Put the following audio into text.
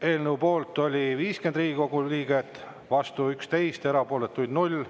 Eelnõu poolt oli 50 Riigikogu liiget, vastu 11, erapooletuid 0.